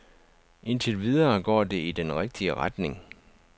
Indtil videre går det i den rigtige retning.